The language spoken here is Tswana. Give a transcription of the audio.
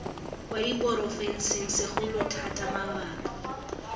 kwa diporofenseng segolo thata mabapi